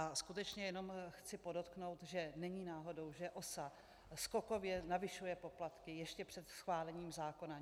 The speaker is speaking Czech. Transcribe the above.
A skutečně jenom chci podotknout, že není náhodou, že OSA skokově navyšuje poplatky ještě před schválením zákona.